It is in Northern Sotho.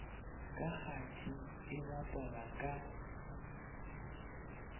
ka kgati e bapalwa ka